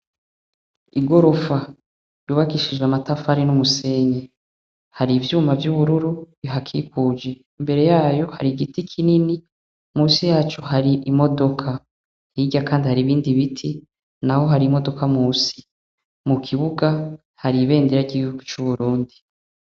Igorofa yubakishije amatafari n'umusenyi hari ivyuma vy'ubururu bihakikuje imbere yayo hari igiti kinini munsi yacu hari imodoka hirya kandi hari ibindi biti naho hari imodoka munsi mu kibuga hari ibendera gihugu cu Burundi.